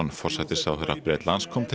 forsætisráðherra Bretlands kom til